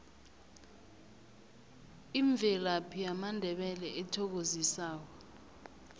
imvelaphi yamandebele ethokozisako